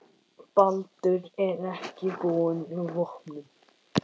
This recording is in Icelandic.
Baldur er ekki búinn vopnum.